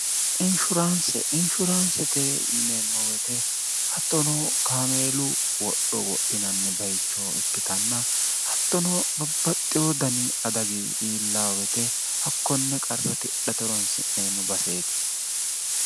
inshuraanse inshuraansete yineemmowoyte hattono kaameelu wodho wodhinanni bayichoo ikkitanna hattono babbaxxiwo dani adagi iillaawete hakkonne qarra tidhate ronsi'neemmo baseeti